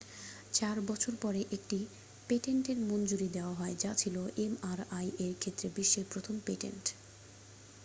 চার বছর পরে একটি পেটেন্টের মঞ্জুরি দেওয়া হয় যা ছিল mri-এর ক্ষেত্রে বিশ্বের প্রথম পেটেন্ট।